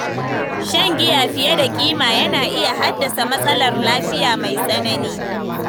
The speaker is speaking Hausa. Shan giya fiye da kima yana iya haddasa matsalar lafiya mai tsanani.